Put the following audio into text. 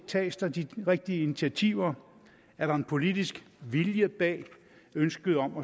tages der de rigtige initiativer er der en politisk vilje bag ønsket om